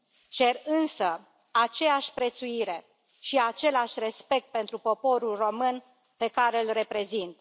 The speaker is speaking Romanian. Cer însă aceeași prețuire și același respect pentru poporul român, pe care îl reprezint.